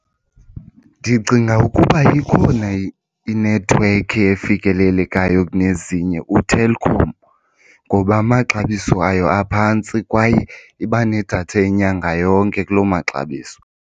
Ndicinga ukuba ikhona inethiwekhi efikelelekayo kunezinye, uTelkom. Ngoba amaxabiso ayo aphantsi kwaye iba nedatha yenyanga yonke kuloo maxabiso.